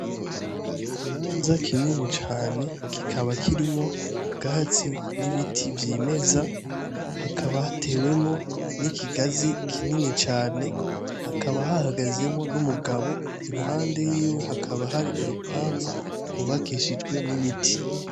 Ikibanza kinini cane. Kikaba kirimwo ubwatsi n'ibiti vyimeza. Hakaba hatewemwo n'ikigazi kinini cane. Hakaba hahagazemwo n'umugabo. Iruhande yiwe hakaba hari urupangu rwubakishijwe n'ibiti.